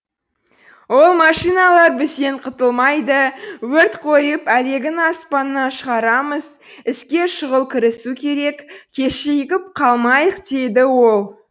ол машиналар бізден құтылмайды өрт қойып әлегін аспаннан шығарамыз іске шұғыл кірісу керек кешігіп қалмайық деді ол